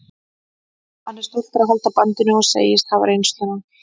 Hann er stoltur að halda bandinu og segist hafa reynsluna.